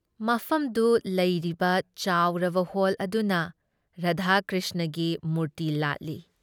ꯃꯐꯝꯗꯨ ꯂꯩꯔꯤꯕ ꯆꯥꯎꯔꯕ ꯍꯣꯜ ꯑꯗꯨꯗ ꯔꯥꯙꯥ ꯀ꯭ꯔꯤꯁꯅꯒꯤ ꯃꯨꯔꯇꯤ ꯂꯥꯠꯂꯤ ꯫